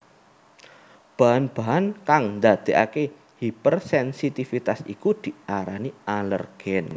Bahan bahan kang ndadèkaké hipersensitivitas iku diarani alèrgen